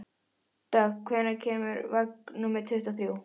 Dögg, hvenær kemur vagn númer tuttugu og þrjú?